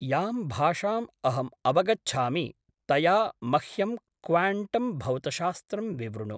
यां भाषाम् अहम् अवगच्छामि तया मह्यं क्वाण्टं भौतशास्त्रं विवृणु।